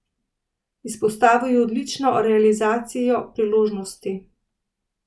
Izpostavil je odlično realizacijo priložnosti.